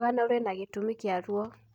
O rũgano rwĩna gĩtũmi kĩa ruo.